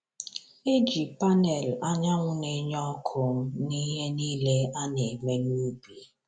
Eji panẹl anyanwụ na-enye ọkụ n’ihe niile a na-eme n’ubi.